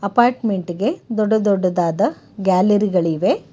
Apartment ಗೆ ದೊಡ್ಡ ದೊಡ್ಡದಾದ ಗ್ಯಾಲರಿ ಗಳಿವೆ.